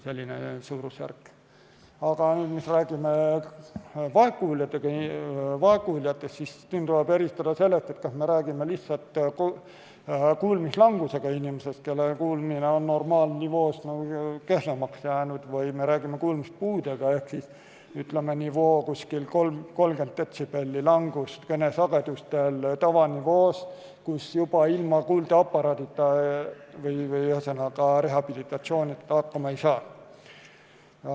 Aga kui me räägime vaegkuuljatest, siis tuleb eristada, kas me räägime lihtsalt kuulmislangusega inimesest, kelle kuulmine on normaalnivoost kehvemaks jäänud, või kuulmispuudega inimesest, kellel on 30 detsibelli langust kõnesagedustel tavanivoos, kui ilma kuuldeaparaadita või rehabilitatsioonita hakkama ei saa.